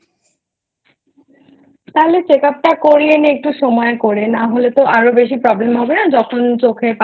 তাহলে Check up টা করিয়ে নে একটু সময় করে নাহলে আরো বেশি problem হবে না যখন চোখের পাওয়ার